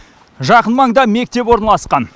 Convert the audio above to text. жақын маңда мектеп орналасқан